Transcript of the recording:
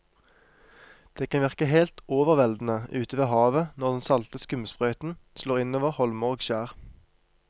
Det kan virke helt overveldende ute ved havet når den salte skumsprøyten slår innover holmer og skjær.